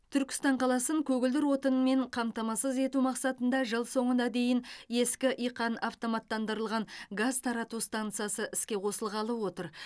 түркістан қаласын көгілдір отынмен қамтамасыз ету мақсатында жыл соңына дейін ескі иқан автоматтандырылған газ тарату стансасы іске қосылғалы отыр